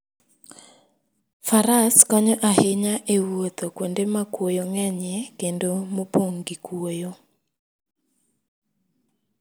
Faras konyo ahinya e wuotho kuonde ma kuoyo ng'enyie kendo mopong' gi kuoyo.